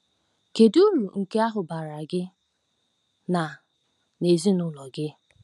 Kedu uru nke ahụ baara gị na na ezinụlọ gị?